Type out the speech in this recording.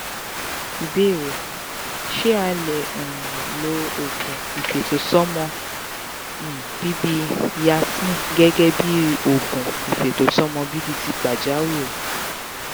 ìbéèrè: ṣé a lè um lo oogun ifetosomo um bibi yasmin gẹ́gẹ́ bí oògùn ifetosomo bibi ti pajawiri?